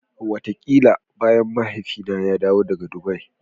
Wataƙila bayan Mahaifina ya dawo daga Dubai.